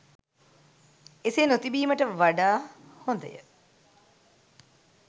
එසේ නොතිබීමට වඩා හොඳය